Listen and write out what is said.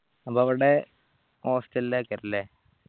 അപ്പോവിടെ hostel ലേക്കല്ലേ